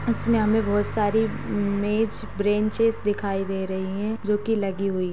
इसमें हमें बहुत सारी मेज़-ब्रेंचेस दिखाई दे रही हैं जो कि लगी हुई --